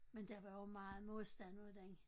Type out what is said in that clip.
Men der var jo meget modstand mod den